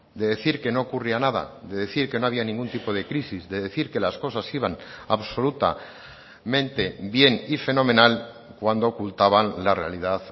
de decir que no ocurría nada de decir que no había ningún tipo de crisis de decir que las cosas iban absolutamente bien y fenomenal cuando ocultaban la realidad